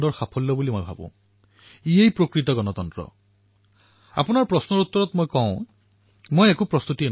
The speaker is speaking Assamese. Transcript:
প্ৰতিটো পল দেশবাসী মোৰ মনত প্ৰবাহিত হৈ থাকে আৰু সেইবাবে যেতিয়াই কোনো পত্ৰ পঢ়োঁ তেতিয়া পত্ৰ লিখোঁতাজনৰ পৰিস্থিতি তেওঁৰ ভাব মোৰ চিন্তাৰ অংশ হৈ পৰে